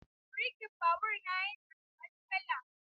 Birkin babur na yana da matsala.